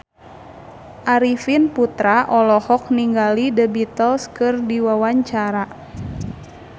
Arifin Putra olohok ningali The Beatles keur diwawancara